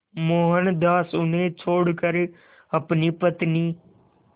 मोहनदास उन्हें छोड़कर अपनी पत्नी